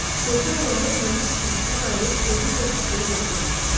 Sevgi onları ümumi sıxıntıdan ayırıb ölüm qorxusunu unutdurmuşdu.